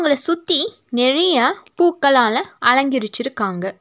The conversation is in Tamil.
அத சுத்தி நெறைய பூக்கலால அலங்கரிச்சிருக்காங்க.